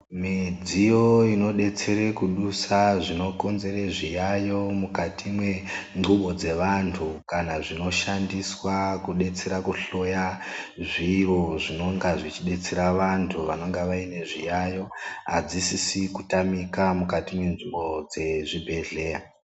Midziyo inodetsere kudusa zvinokonzere zviyaiyo mukati mwendubo dzevanthu kana zvinoshandiswa kudetsera kuhloya zviro zvinonga zvechidetsera vanthu vanonga vane zviyaiyo adzisisi kutamikwa mukati mwenzvimbo dzezvibhedhleya.